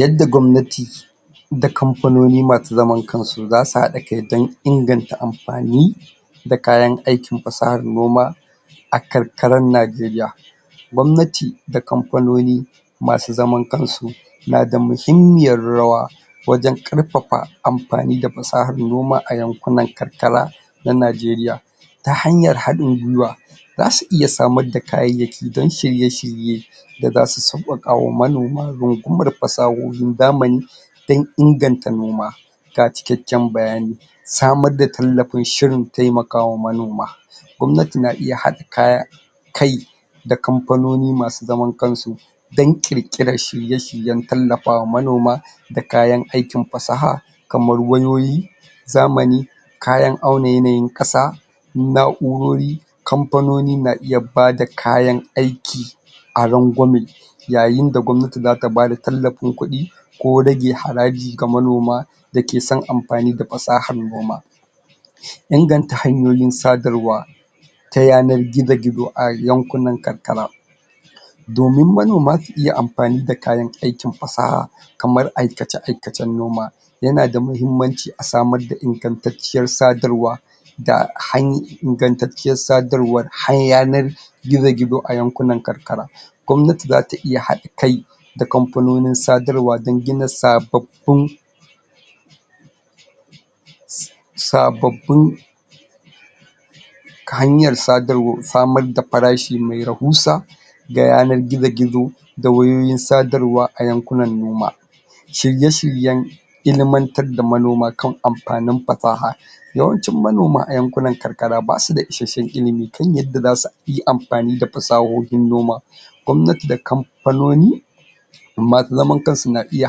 Yadda gwamnati da kamfanoni ma su zaman kansu za su haɗa kai don inganta amfani da kayan aikin fasahar noma a karkarar Nigeria. Gwamnati da kamfanoni ma su zaman kansu na da muhimmiyar rawa wajen ƙarfafa amfani da fasahar noma a yankunan karkara na Nigeria, ta hanyar haɗin gwiwa za su iya samar da kayayyaki don shirye-shirye da za su sauƙaƙa wa manoma rungumar fasahohin zamani don inganta noma. Ga cikakken bayani Samar da tallafin shirin tallafawa manoma gwamnati na iya haɗa kaya kai da kamfanoni masu zaman kansu don ƙirƙirar shirye-shiryen tallafawa manoma da kayan aikin fasaha kamar: wayoyin zamani, kayan auna yanayin ƙasa, na'urori, kamfanoni na iya bada kayan aiki a ragwame yayin da gwamnati zata bada tallafin kuɗi, ko rage haraji ga manoma da ke son amfani da fasahar noma. Inganta hanyoyin sadarwa ta yanar gizo-gizo a yankunan karkara domin manoma su iya amfani da kayan aikin fasa kamar aikace-aikacen noma ya na da mahimmanci a samar da ingantacciyar sadarwa da hanyar ingantacciyar sadarwar har yanar gizo-gizo a yankunan karkara, gwamnati za ta iya haɗa kai da kamfanonin sadarwa don gina sababbun? sababbun ta hanyar sadarwar samar da farashi mai rahusa da yanar gizo-gizo da wayoyin sadarwa a yankunan noma, shirye-shiryen ilimantar da manoma kan amfanin fasaha, yawancin manoma a yankunan karkara ba su da isashshen ilimi kan yadda za su yi amfani da fasahohin noma gwamnati da kamfanoni ma su zaman kansu za su na iya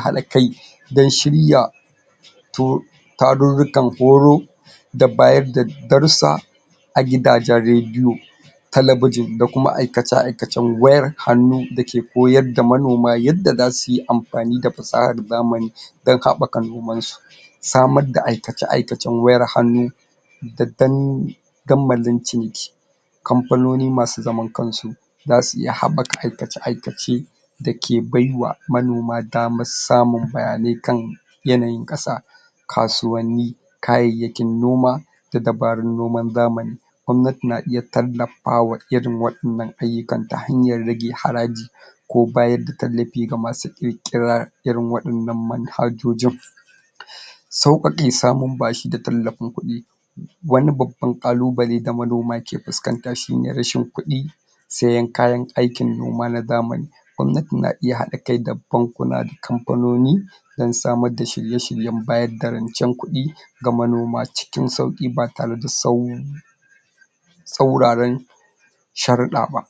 haɗa kai don shirya to tarurrukan horo da bayarda darussa a gidajen radion, talabijin da kuma aikace-aikacn wayar hannu da ke koyar da manoma yadda za su yi amfani da fasahar zamani don haɓaka nomansu. Samar da aika-aikacen wayar hannu da dandamalin ciniki, kamfanoni ma su zaman kansu za su iya haɓaka aikace-aikace da ke baiwa manoma damar samun bayanai kan yanayin ƙasa, kasuwanni, kayayyakin noma da dabarun noman zamani. Gwanati na iya tallafawa irin waɗannan ayyukan ta hanyar rage haraji ko bayar da tallafi ga ma su ƙirƙirar irin waɗannan manhajoji, sauƙaƙe samun bashi da tallafin kuɗi. Wani babban ƙalubale da manoma ke fuskanta shine rashin kuɗi, sayen kayan aikin noma na zamani, gwamnati na iya haɗakai da bankuna da kamfanoni don samar da shirye-shiryen bayar da rancen kuɗi ga manoma cikin sauƙi ba tare da tsau tsauraran sharuɗa ba.